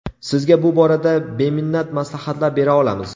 Sizga bu borada beminnat maslahatlar bera olamiz.